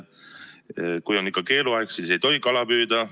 Kui on ikka keeluaeg, siis ei tohi kala püüda.